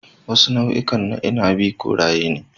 Wasu nau'ikan na inabi koraye ne.